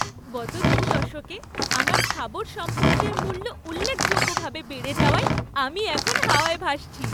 গত দু দশকে আমার স্থাবর সম্পত্তির মূল্য উল্লেখযোগ্যভাবে বেড়ে যাওয়ায় আমি এখন হাওয়ায় ভাসছি।